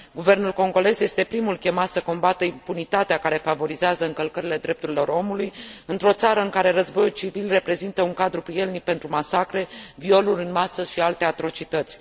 Guvernul congolez este primul chemat să combată impunitatea care favorizează încălcările drepturilor omului, într o țară în care războiul civil reprezintă un cadru prielnic pentru masacre, violuri în masă și alte atrocități.